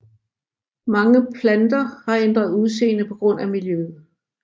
Mange planter har ændret udseende på grund af miljøet